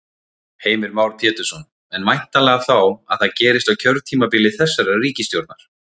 Heimir Már Pétursson: En væntanlega þá að það gerist á kjörtímabili þessarar ríkisstjórnar?